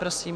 Prosím.